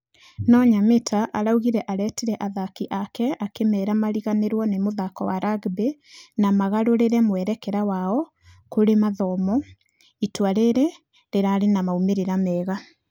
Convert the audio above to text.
Nũ nyamita arauga aretire athaki ake akĩmera mariganĩrwo na mũthako wa rugby na magũrũre mwerekera wao kũrĩbmathomo, itua rĩrĩa rĩrarĩ na maumerera mega.